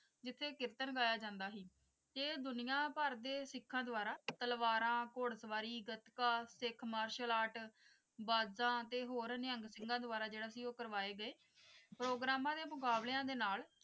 ਜਿੱਥੇ ਕੀਰਤਨ ਗਿਆ ਜਾਂਦਾ ਸੀ ਤੇ ਦੁਨੀਆ ਭਰ ਦੇ ਸਿੱਖਾਂ ਦੁਆਰਾ ਤਲਵਾਰਾਂ ਘੁੜਸਵਾਰੀ ਗੱਤਕਾ ਸਿੱਖ ਮਾਰਸ਼ਲ ਆਰਟ ਬਾਜ਼ਾਂ ਤੇ ਹੋਰ ਨਿਹੰਗ ਸਿੰਘਾਂ ਦੁਆਰਾ ਜਿਹੜਾ ਸੀ ਉਹ ਕਰਵਾਏ ਗਏ ਪ੍ਰੋਗਰਾਮਾਂ ਦੇ ਮੁਕਾਬਲਿਆਂ ਦੇ ਨਾਲ